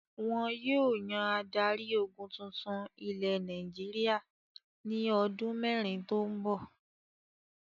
Wọn yóò yan adarí-ogun tuntun ilẹ̀ Nàìjíríà ní ọdún mẹ́rin tó ń bọ̀.